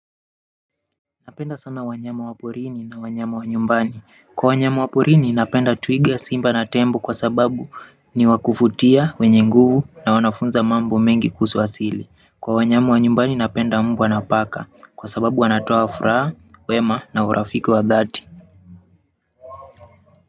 Napenda sana wanyama waporini na wanyama wanyumbani. Kwa wanyama waporini napenda twiga simba na tembo kwa sababu ni wakuvutia wenye nguvu na wanafunza mambo mengi kuhusu asili. Kwa wanyama wanyumbani napenda mbwa na paka kwa sababu wanatoa furaha, wema na urafiki wa dhati.